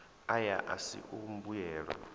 aya a si a mbuyelo